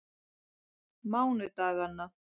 mánudaganna